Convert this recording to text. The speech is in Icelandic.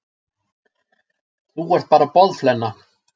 Þú ert bara boðflenna.